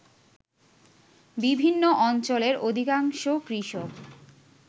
বিভিন্ন অঞ্চলের অধিকাংশ কৃষক